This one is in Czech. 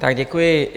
Tak děkuji.